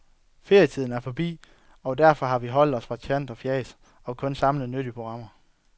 Ferietiden er forbi, og derfor har vi holdt os fra tant og fjas og kun samlet nyttige programmer.